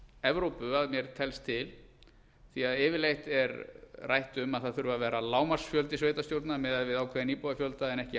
evrópu að mér telst til því yfirleitt er rætt um að vera þurfi lágmarksfjöldi sveitarstjórnarmanna miðað við ákveðinn íbúafjölda en ekki